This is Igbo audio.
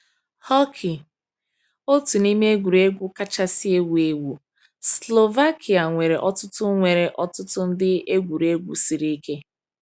Hockey— otu n’ime egwuregwu kachasị ewu ewu. Slovakia nwere ọtụtụ nwere ọtụtụ ndị egwuregwu siri ike.